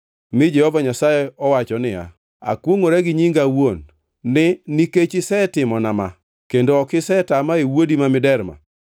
mi Jehova Nyasaye owacho niya, “Akwongʼora gi nyinga awuon, ni nikech isetimona ma kendo ok isetama e wuodi ma miderma,